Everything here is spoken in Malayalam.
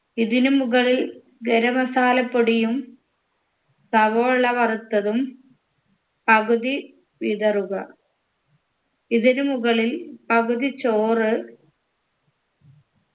ഇതിനു മുകളിൽ ഗരം masala പൊടിയും സവോള വറുത്തതും പകുതി വിതറുക ഇതിനു മുകളിൽ പകുതി ചോറ്